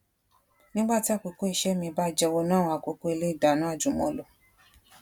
nígbà tí àkókò iṣẹ mi bá jẹ wọnú àwọn àkókò ilé ìdáná ajùmọlò